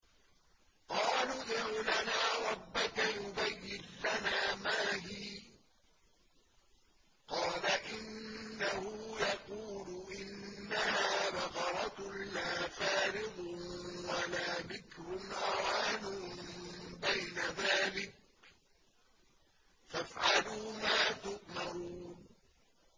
قَالُوا ادْعُ لَنَا رَبَّكَ يُبَيِّن لَّنَا مَا هِيَ ۚ قَالَ إِنَّهُ يَقُولُ إِنَّهَا بَقَرَةٌ لَّا فَارِضٌ وَلَا بِكْرٌ عَوَانٌ بَيْنَ ذَٰلِكَ ۖ فَافْعَلُوا مَا تُؤْمَرُونَ